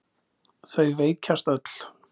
Þau veikjast öll.